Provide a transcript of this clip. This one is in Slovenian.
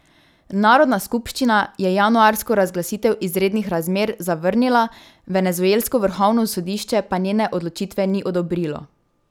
Narodna skupščina je januarsko razglasitev izrednih razmer zavrnila, venezuelsko vrhovno sodišče pa njene odločitve ni odobrilo.